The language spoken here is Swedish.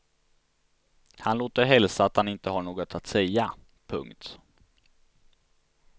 Han låter hälsa att han inte har något att säga. punkt